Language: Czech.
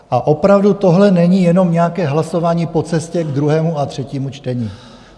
A opravdu, tohle není jenom nějaké hlasování po cestě k druhému a třetímu čtení.